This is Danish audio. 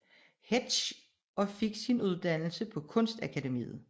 Hetsch og fik sin uddannelse på Kunstakademiet